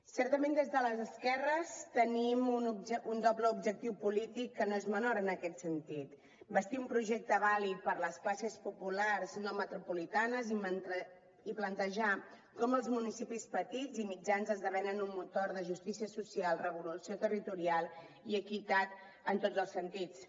certament des de les esquerres tenim un doble objectiu polític que no és menor en aquest sentit bastir un projecte vàlid per a les classes populars no metropolitanes i plantejar com els municipis petits i mitjans esdevenen un motor de justícia social revolució territorial i equitat en tots els sentits